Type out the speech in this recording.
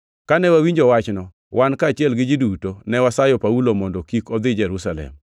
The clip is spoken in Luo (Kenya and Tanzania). Kane wawinjo wachno, wan kaachiel gi ji duto, ne wasayo Paulo mondo kik odhi Jerusalem.